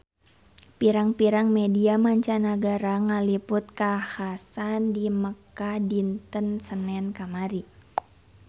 Pirang-pirang media mancanagara ngaliput kakhasan di Mekkah dinten Senen kamari